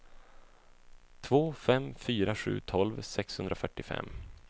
två fem fyra sju tolv sexhundrafyrtiofem